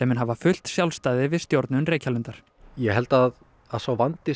mun hafa fullt sjálfstæði við stjórnun Reykjalundar ég held að að sá vandi